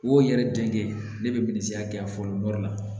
O yɛrɛ jate ne bɛ minisiriya fɔlɔ la